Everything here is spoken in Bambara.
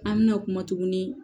An mɛna kuma tuguni